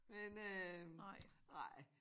Men øh nej